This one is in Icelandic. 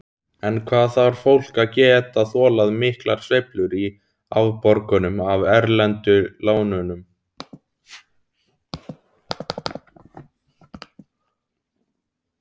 En hvað þarf fólk að geta þolað miklar sveiflur í afborgunum af erlendu lánunum?